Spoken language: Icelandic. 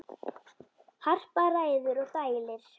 Harpa ræður og dælir.